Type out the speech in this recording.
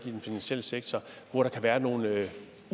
i den finansielle sektor hvor der kan være nogle